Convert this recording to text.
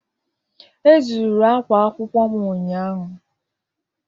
E zuru ákwá akwụkwọ m ụnyahụ.